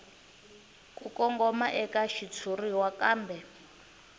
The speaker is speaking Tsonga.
ku kongoma eka xitshuriwa kambe